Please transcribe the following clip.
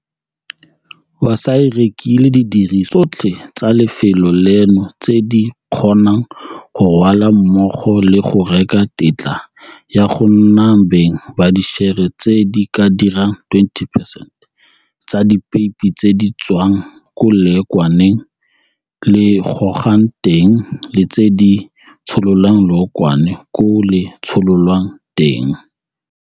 Wasaa e rekile didirisiwa tsotlhe tsa lefelo leno tse di kgonang go rwalwa mmogo le go reka tetla ya go nna beng ba dišere tse di ka dirang 20 percent tsa dipeipi tse di tswang ko leokwane le gogwang teng le tse di tshololang leokwane koo le tshololwang teng.